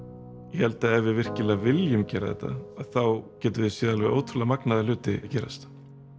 ég held að ef við virkilega viljum gera þetta þá getum við séð alveg ótrúlega magnaða hluti gerast